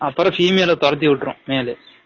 அப்ரம் female ஆ தொரதி விட்ற்றும் male